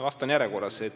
Vastan järjekorras.